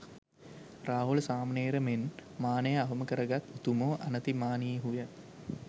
රාහුල සාමණේර මෙන් මානය අවම කරගත් උතුමෝ අනතිමානීහු ය.